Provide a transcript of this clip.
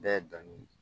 Bɛɛ ye danni